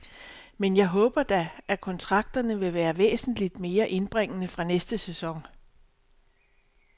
Men jeg håber da, at kontrakterne vil være væsentligt mere indbringende fra næste sæson.